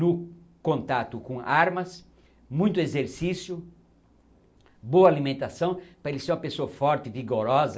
No contato com armas, muito exercício, boa alimentação para ele ser uma pessoa forte, vigorosa.